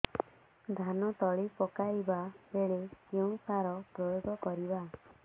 ଧାନ ତଳି ପକାଇବା ବେଳେ କେଉଁ ସାର ପ୍ରୟୋଗ କରିବା